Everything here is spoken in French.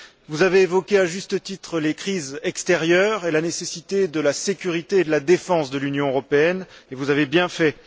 Vous avez évoqué, à juste titre, les crises extérieures et la nécessité de la sécurité et de la défense de l'Union européenne, et vous avez bien fait.